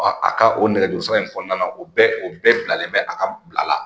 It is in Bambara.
a ka o nɛgɛjuru sira in kɔnɔna na o bɛɛ o bɛɛ bilalen bɛ a ka bila la